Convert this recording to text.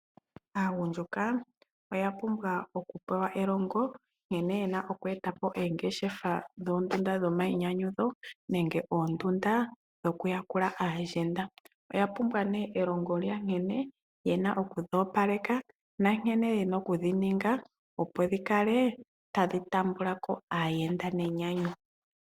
Aagundjuka oya pumbwa okupewa elongo nkene yena okweeta oongeshefa dhomayinyanyudho nenge oondundu dhoku yakula aayenda. Oya pumbwa nee nkene yena okudhi opaleka nankene yena okudhi ninga opo dhikale tadhi tambulako aayenda nenyanyu.